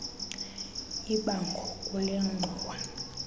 ibango kule ngxowa